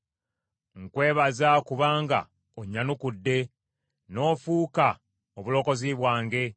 Nkwebaza kubanga onnyanukudde n’ofuuka obulokozi bwange.